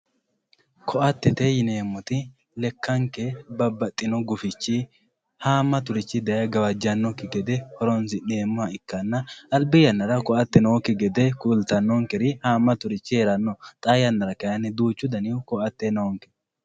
ko"atete yineemoti lekkanke gufichi haamaturichi daye gawajannoki gede horonsi'meemoha ikkanna albi yannara ko"ate nooki gede kultanonkeri haamaturich heeranno xaa yannara kayiini duuchu daniti ke"ate noonke.